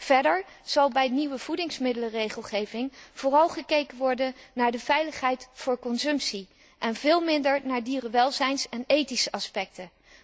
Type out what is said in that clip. Verder zal bij de nieuwe voedingsmiddelenregelgeving vooral gekeken worden naar de veiligheid voor consumptie en veel minder naar dierenwelzijns en ethische aspecten.